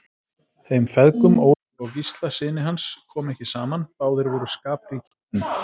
Þeim feðgum, Ólafi og Gísla syni hans, kom ekki saman, báðir voru skapríkir menn.